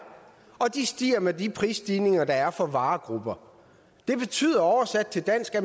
og de stiger med de prisstigninger der er for varegrupper det betyder oversat til dansk at